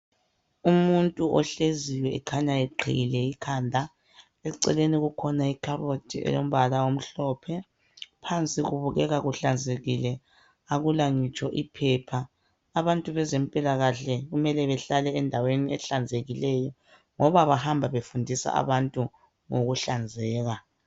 Umuntu ohleziyo ekhanya eqhiyile ikhanda, eceleni kukhona ikhabothi eyombala omhlophe. Phansi kubukeka kuhlanzekile, akula ngitsho ipaper. Abantu bezempilakahle kumele behlale endaweni ehlanzekileyo ngoba bahamba befundisa abantu ngokuhlanzeka.